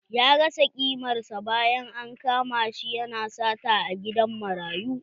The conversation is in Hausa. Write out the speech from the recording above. Ya rasa kimar sa bayan an kama shi ya na sata a gidan marayu